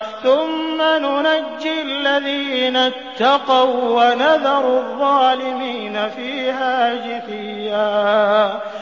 ثُمَّ نُنَجِّي الَّذِينَ اتَّقَوا وَّنَذَرُ الظَّالِمِينَ فِيهَا جِثِيًّا